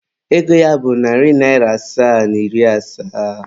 Ego ya bụ narị naịra asaa na iri asaa.